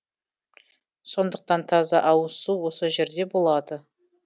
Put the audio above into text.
сондықтан таза ауызсу осы жерде болады